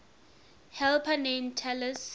helper named talus